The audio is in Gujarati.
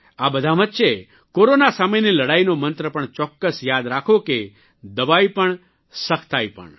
આ બધાં વચ્ચે કોરોના સામેની લડાઇનો મંત્ર પણ ચોક્કસ યાદ રાખો કે દવા પણ સખ્તાઇ પણ